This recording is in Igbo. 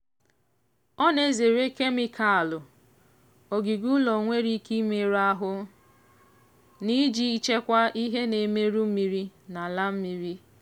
ọ na-ezere kemịkalụ ogige ụlọ nwere ike imerụ ahụ na iji chekwaa ihe na-emerụ mmiri na ala mmiri.